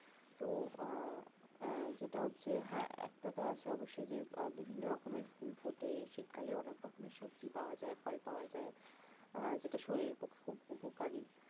তো উহ আহ যেটা হচ্ছে যে হ্যা একটা তো আছে অবশ্যই যে আহ বিভিন্ন রকমের ফুল ফোটে শীতকালে অনেক রকমের সব্জি পাওয়া যায় ফল পাওয়া যায় আহ যেটা শরীরের পক্ষে খুব উপকারী